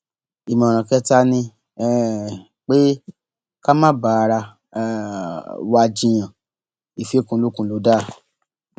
ìmọràn kẹta ni um pé ká má bá ara um wa jiyàn ìfikùnlukùn lọ dáa